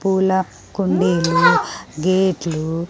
పూల కుండీలు గాట్లు .